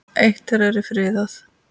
Eitt þeirra er friðað.